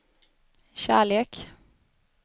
kärlek